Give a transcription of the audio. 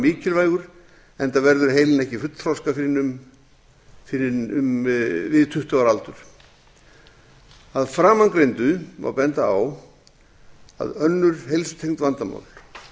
mikilvægur enda verður heilinn ekki fullþroska fyrr en við tuttugu ára aldur að framangreindu má benda á að önnur heilsutengd vandamál